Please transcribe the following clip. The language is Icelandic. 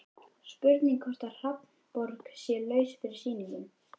Spurning hvort að Hafnarborg sé laus fyrir sýningu?